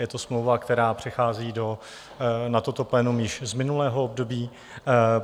Je to smlouva, která přechází na toto plénum již z minulého období.